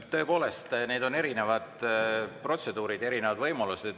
Tõepoolest, need on erinevad protseduurid, erinevad võimalused.